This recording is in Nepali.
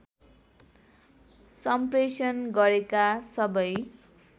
सम्प्रेषण गरेका सबै